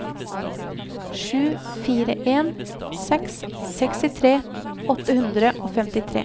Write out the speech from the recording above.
sju fire en seks sekstitre åtte hundre og femtitre